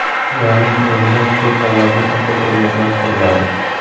Ularning o‘rnida ko‘p qavatli avtoturargohlar quriladi.